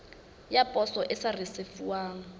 ya poso e sa risefuwang